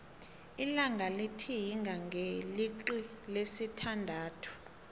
ilanga litihinga ngeilixi lesi thandathu